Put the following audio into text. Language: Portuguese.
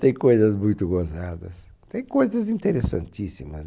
Tem coisas muito gozadas, tem coisas interessantíssimas,